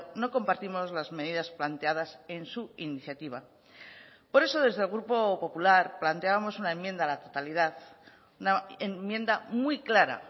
no compartimos las medidas planteadas en su iniciativa por eso desde el grupo popular planteábamos una enmienda a la totalidad una enmienda muy clara